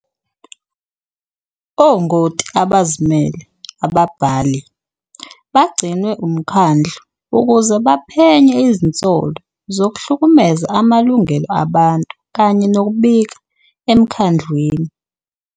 Ongoti abazimele, "ababhali", bagcinwe umkhandlu ukuze baphenye izinsolo zokuhlukumeza amalungelo abantu kanye nokubika emkhandlwini.